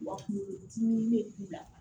Wa kunkolo dimi bɛ i la